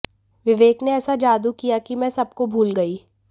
विवेक ने ऐसा जादू किया कि मैं सबको भूल गई